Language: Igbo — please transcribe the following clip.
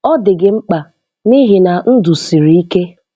Ọ dị gị mkpa n'ihi na ndụ siri ike.